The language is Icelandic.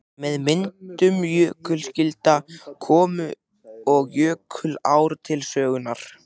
Með myndun jökulskjalda komu og jökulár til sögunnar.